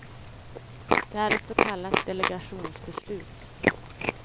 Det är ett så kallat delegationsbeslut.